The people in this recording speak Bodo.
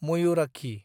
मयुराक्षी